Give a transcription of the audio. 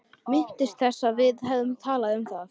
Minntist þess ekki að við hefðum talað um það.